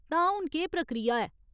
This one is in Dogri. तां, हून केह् प्रक्रिया ऐ ?